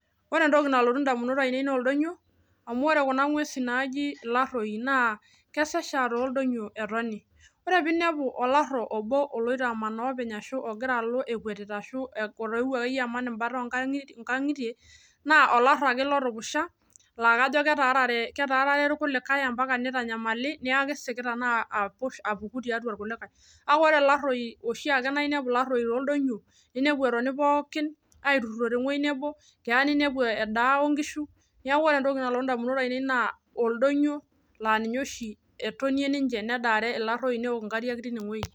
ore entoki nalotu indamunot ainei naa oldonyioo amuu ore kuna ngwesin naaji ilaroi naa odonyioo oshi epuo ore piinepu olaro olotu ampaka inkangitie naa kajo ake kolotupusha amuu ore tooldonyioo naa keya nilo ainepu iragita ashu edaa ake neeku ore entoki nalotu indamunot ainei naa oldonyio laa ninye etii kuna ngwesin